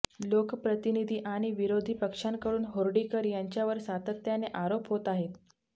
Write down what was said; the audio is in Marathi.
लोकप्रतिनिधी आणि विरोधी पक्षांकडून हर्डीकर यांच्यावर सातत्याने आरोप होत आहेत